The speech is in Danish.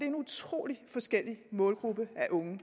en utrolig forskellig målgruppe af unge